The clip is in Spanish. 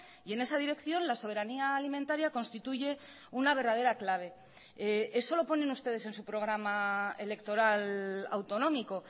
y en esa dirección la soberanía alimentaria constituye una verdadera clave eso lo ponen ustedes en su programa electoral autonómico